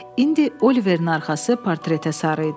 İndi Oliverin arxası portretə sarı idi.